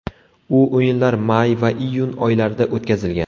U o‘yinlar may va iyun oylarida o‘tkazilgan.